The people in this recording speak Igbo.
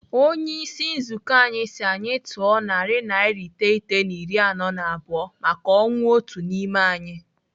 Onyeisi nzukọ anyị si anyị tụọ naira narị iteghete na iri anọ na abụọ maka ọnwụ otu n'ime anyị.